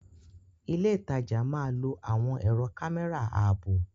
Ilé ìtajà máa lò àwọn ẹ̀rọ kámẹ́rà ààbò.